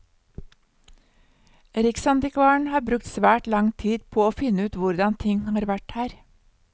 Riksantikvaren har brukt svært lang tid på å finne ut hvordan ting har vært her.